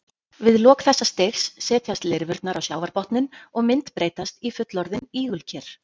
Við lok þessa stigs setjast lirfurnar á sjávarbotninn og myndbreytast í fullorðin ígulker.